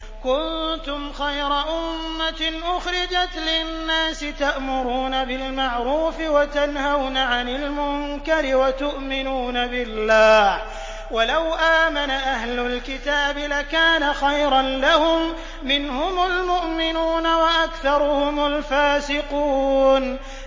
كُنتُمْ خَيْرَ أُمَّةٍ أُخْرِجَتْ لِلنَّاسِ تَأْمُرُونَ بِالْمَعْرُوفِ وَتَنْهَوْنَ عَنِ الْمُنكَرِ وَتُؤْمِنُونَ بِاللَّهِ ۗ وَلَوْ آمَنَ أَهْلُ الْكِتَابِ لَكَانَ خَيْرًا لَّهُم ۚ مِّنْهُمُ الْمُؤْمِنُونَ وَأَكْثَرُهُمُ الْفَاسِقُونَ